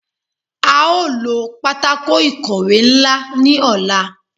A o lo patako ikowe nla ni ọla